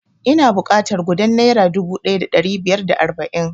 Ina buƙatar gudan naira dubu ɗaya da ɗari biyar da arba'in